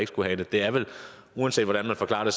skulle have det uanset hvordan man forklarer det